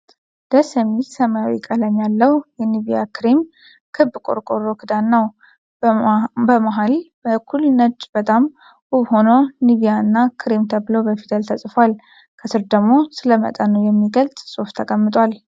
ደስ የሚል ሰማያዊ ቀለም ያለው የኒቬያ ክሬም ክብ ቆርቆሮ ክዳን ነው። በመሃል በኩል ነጭ በጣም ውብ ሆኖ ኒቬያ እና ክሬም ተብሎ በፊደል ተጽፏል። ከስር ደግሞ ስለ መጠኑ የሚገልጽ ጽሁፍ ተቀምጧል።